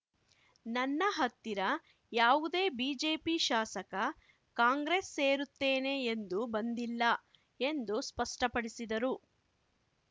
ನನ್ನ ಹತ್ತಿರ ಯಾವುದೇ ಬಿಜೆಪಿ ಶಾಸಕ ಕಾಂಗ್ರೆಸ್‌ ಸೇರುತ್ತೇನೆ ಎಂದು ಬಂದಿಲ್ಲ ಎಂದು ಸ್ಪಷ್ಟಪಡಿಸಿದರು